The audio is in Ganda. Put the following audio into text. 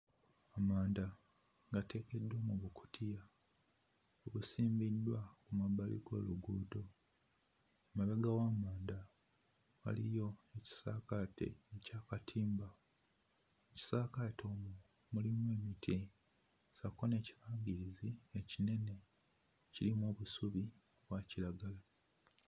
Amanda gateekeddwa mu bukutiya gasimbiddwa mu mabbali g'oluguudo. Emabega w'amanda waliyo ekisaakaate ky'akatimba. Ekisaakaate omwo mulimu emiti ssaako n'ekibangirizi ekinene ekirimu obusubi obwa kiragala.